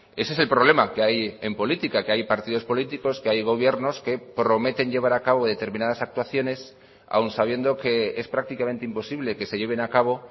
ese es el problema que hay en política que hay partidos políticos que hay gobiernos que prometen llevar a cabo determinadas actuaciones aun sabiendo que es prácticamente imposible que se lleven a cabo